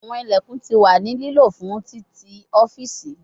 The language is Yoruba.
Awọn ilẹkun ti wa ni lilo fun titi ọfiisi